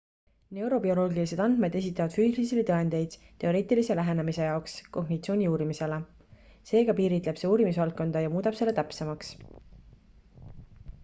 neurobioloogilised andmed esitavad füüsilisi tõendeid teoreetilise lähenemise jaoks kognitsiooni uurimisele seega piiritleb see uurimisvaldkonda ja muudab selle täpsemaks